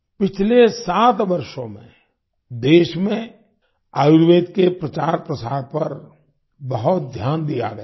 पिछले सात वर्षों में देश में आयुर्वेद के प्रचारप्रसार पर बहुत ध्यान दिया गया है